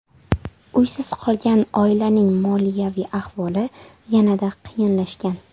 Uysiz qolgan oilaning moliyaviy ahvoli yanada qiyinlashgan.